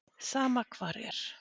Sama hvar er.